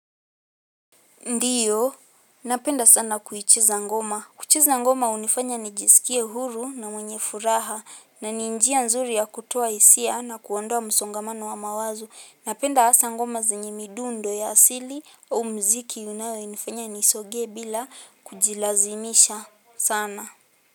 Ndiyo, napenda sana kuichezangoma. Kuchezangoma unifanya nijisikie huru na mwenye furaha. Na ninjia nzuri ya kutoa hisia na kuondoa msongamano wa mawazo. Napenda asangoma zenye midundo ya asili au mziki unayonifanya nisonge bila kujilazimisha sana.